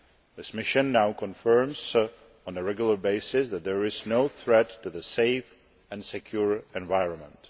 This mission now confirms on a regular basis that there is no threat to the safe and secure environment.